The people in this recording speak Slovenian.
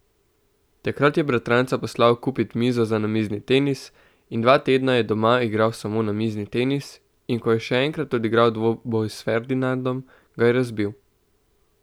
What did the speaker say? Takrat je bratranca poslal kupit mizo za namizni tenis in dva tedna je doma igral samo namizni tenis in ko je še enkrat odigral dvoboj s Ferdinandom, ga je razbil.